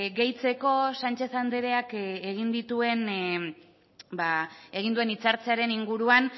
gehitzeko sánchez andreak egin dituen egin duen hitzartzearen inguruan